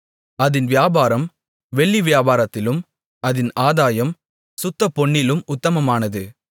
அதின் வியாபாரம் வெள்ளி வியாபாரத்திலும் அதின் ஆதாயம் சுத்தப்பொன்னிலும் உத்தமமானது